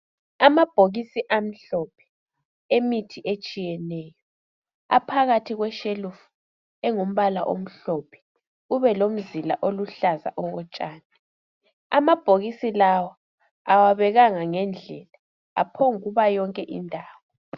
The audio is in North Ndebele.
Amabhokisi amhlophe emithi etshiyeneyo. Aphakathi kweshelufu engumbala omhlophe kube lomzila oluhlaza okotshani. Amabhokisi lawa awabekwanga ngendlela aphomb ukuba yonke indawo.